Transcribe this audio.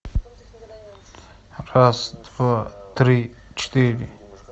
раз два три четыре